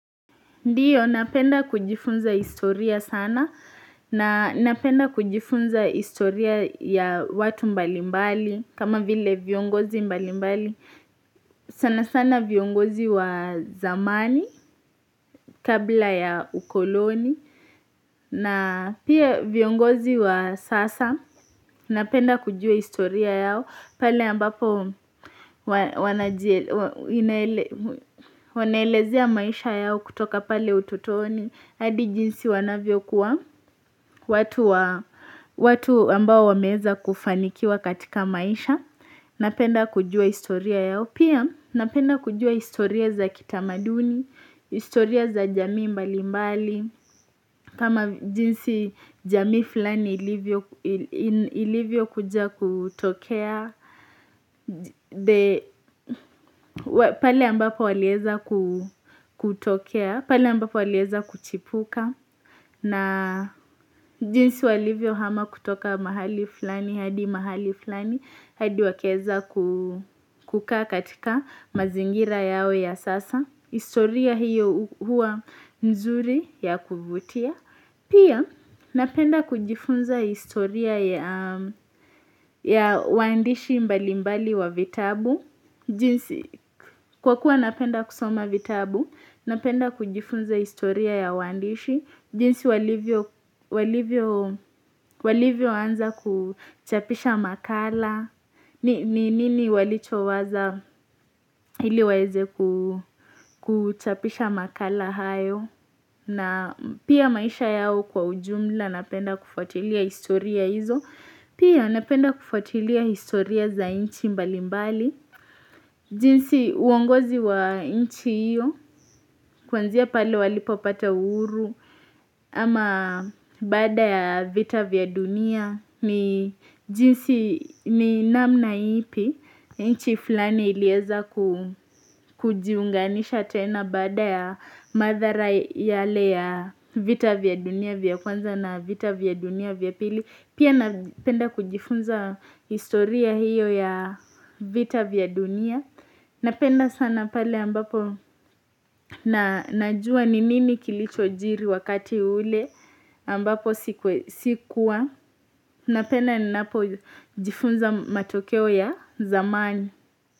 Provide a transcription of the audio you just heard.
Ndiyo napenda kujifunza historia sana na napenda kujifunza historia ya watu mbalimbali kama vile viongozi mbalimbali sana sana viongozi wa zamani kabla ya ukoloni na pia viongozi wa sasa napenda kujua historia yao pale ambapo wanaelezea maisha yao kutoka pale ututoni hadi jinsi wanavyo kua watu ambao wameeza kufanikiwa katika maisha Napenda kujua historia yao pia napenda kujua historia za kitamaduni historia za jamii mbali mbali kama jinsi jamii fulani ilivyo kuja kutokea Pali ambapo waleza kutokea Pali ambapo waliweza kuchipuka na jinsi walivyo hama kutoka mahali fulani, hadi mahali fulani, hadi wakaeza ku kuka katika mazingira yao ya sasa. Historia hiyo huwa nzuri ya kuvutia. Pia napenda kujifunza historia ya waandishi mbali mbali wa vitabu. Jinsi kwakua napenda kusoma vitabu, napenda kujifunza historia ya waandishi. Jinsi walivyo anza kuchapisha makala, ni nini walichowazaa ili waeze kuchapisha makala hayo, na pia maisha yao kwa ujumla napenda kufatilia historia hizo, pia napenda kufatilia historia za nchi mbali mbali. Jinsi uongozi wa nchi iyo Kwanzia pale walipopata uhuru ama baada ya vita vya dunia jinsi ni namna ipi nchi fulani ilieza ku kujiunganisha tena baada ya maadhara yale ya vita vya dunia vya Kwanza na vita vya dunia vya pili Pia napenda kujifunza historia hiyo ya vita vya dunia, Napenda sana pale ambapo na najua ni nini kilichojiri wakati ule ambapo sikuwa. Napenda ni napo jifunza matokeo ya zamani.